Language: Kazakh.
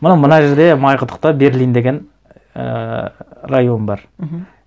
мына мына жерде майқұдықта берлин деген ііі район бар мхм